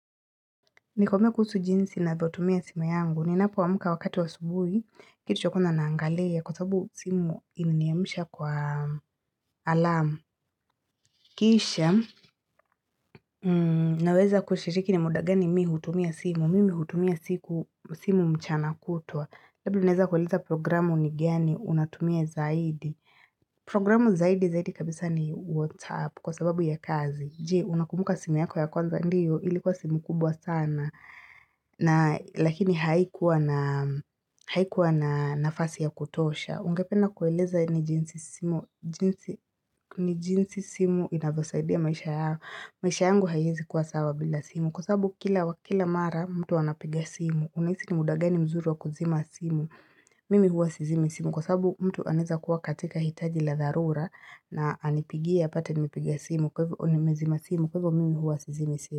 Nikome kusu jinsi ninavyotumia simu yangu. Ninapoamka wakati wa asubuhi, kitu chako na naangalia. Kwa sababu simu iliniamsha kwa alamu. Kisha, naweza kushiriki ni muda gani mi hutumia simu. Mimi hutumia simu mchana kutwa. Labda uneza kueliza programu ni gani, unatumia zaidi. Programu zaidi zaidi kabisa ni WhatsApp kwa sababu ya kazi. Je, unakumbuka simu yako ya kwanza, ndiyo, ilikuwa simu kubwa sana. Lakini haikuwa na nafasi ya kutosha. Ungependa kueleza ni jinsi simu inavyosaidia maisha yako. Maisha yangu haiwezi kuwa sawa bila simu Kwa sababu kila mara mtu anapiga simu. Unahisi ni muda gani mzuri wa kuzima simu. Mimi huwa sizimi simu Kwa sababu mtu anaweza kuwa katika hitaji la dharura na anipigie apate nimepiga nimezima simu. Kwa hivyo mimi huwa sizimi simu.